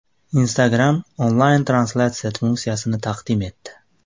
Instagram onlayn-translyatsiya funksiyasini taqdim etdi.